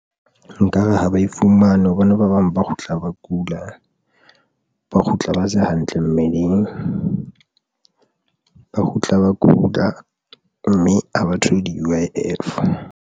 Nkare ha ba ifumane hobane ba bang ba kgutla ba kula, ba kgutla, ba se hantle mmeleng, ba kgutla ba kula mme ha ba thole di-U_I_F.